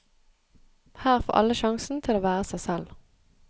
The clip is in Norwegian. Her får alle sjansen til å være seg selv.